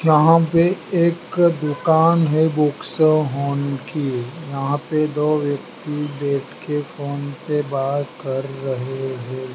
यहां पे एक दुकान है बुक्स की यहां पे दो व्यक्ति बैठ के के फोन पे बात कर रहे है।